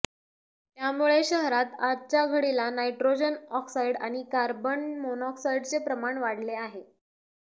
त्यामुळे शहरात आजच्या घडीला नायट्रोजन ऑक्साईड आणि कार्बन मोनोक्साईडचे प्रमाण वाढले आहे